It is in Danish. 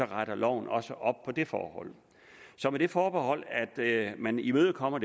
retter loven også op på det forhold så med det forbehold at man imødekommer